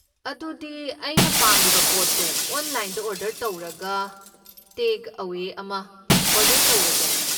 ꯑꯗꯨꯗꯤ ꯑꯩꯅ ꯄꯥꯝꯂꯤꯕ ꯄꯣꯠꯇꯣ ꯑꯣꯟꯂꯥꯏꯟꯗ ꯑꯣꯔꯗꯔ ꯇꯧꯔꯒ ꯇꯦꯛ ꯑꯋꯦ ꯑꯃ ꯑꯣꯔꯗꯔ ꯇꯧꯔꯒꯦ꯫